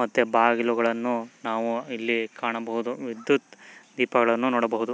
ಮತ್ತೆ ಬಾಗಿಲುಗಳನ್ನು ಮತ್ತೆ ವಿದ್ಯುತ್ ದೀಪ ಅನ್ನು ನೋಡಬಹುದು.